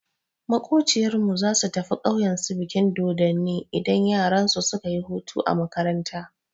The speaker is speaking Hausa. Maƙociyar mu zasu tafi ƙauyen su bikin dodonni idan yaransu suka yi hutu a makaranta.